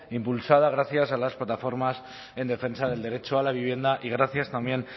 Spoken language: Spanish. impulsada gracias a las plataformas en defensa del derecho a la vivienda y gracias también